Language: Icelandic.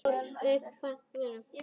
Syngja- læra lög- læra kvæði